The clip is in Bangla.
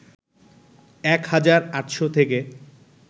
১ হাজার ৮শ’ থেকে